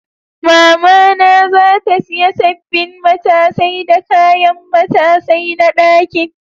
Mama na za ta siya sabbin matasai da kayan matasai na ɗakin.